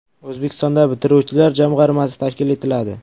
O‘zbekistonda bitiruvchilar jamg‘armasi tashkil etiladi.